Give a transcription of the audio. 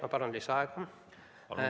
Ma palun lisaaega!